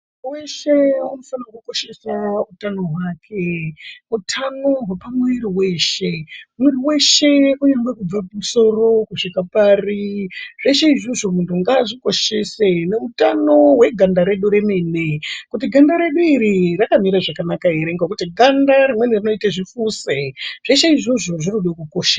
Weshe anofanirwa kukosheswa utano hwake. Utano hwepamwiri wehse. Mwiri weshe kungangwe kubve kumusoro kusvika pari zveshe izvozvo munhu ngazvikoshese neutano hweganda redu remene kuti ganda redu iri rakamire zvakanaka ere ngekuti ganda rimweni rinoite zvifuse, zvese izvozvo zvinode kukoshe.